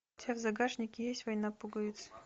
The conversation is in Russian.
у тебя в загашнике есть война пуговиц